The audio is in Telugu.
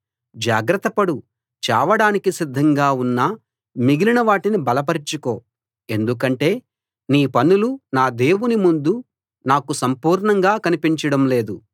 జాగ్రత్త పడు చావడానికి సిద్ధంగా ఉన్న మిగిలిన వాటిని బలపరచుకో ఎందుకంటే నీ పనులు నా దేవుని ముందు నాకు సంపూర్ణంగా కనిపించడం లేదు